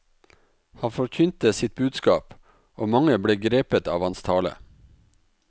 Han forkynte sitt budskap, og mange ble grepet av hans tale.